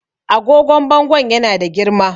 agogon bangon yana da girma